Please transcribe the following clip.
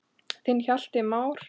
Þinn Hjalti Már.